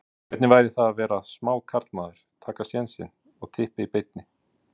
Hvernig væri það að vera smá karlmaður, taka sénsinn og Tippa í beinni?